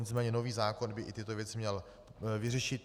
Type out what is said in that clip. Nicméně nový zákon by i tyto věci měl vyřešit.